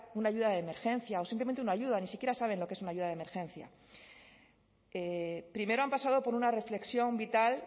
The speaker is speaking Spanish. una ayuda de emergencia o simplemente una ayuda ni siquiera saben lo que es una ayuda de emergencia primero han pasado por una reflexión vital